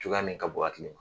Cogoya min ka bon hakili ma